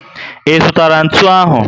I zụtara ntụ ahụ?